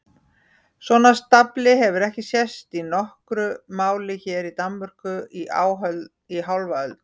Svona stafli hefur ekki sést í nokkru máli hér í Danmörku í hálfa öld!